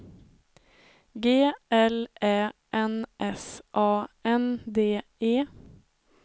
G L Ä N S A N D E